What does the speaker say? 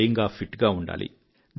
స్వయంగా ఫిట్ గా ఉండాలి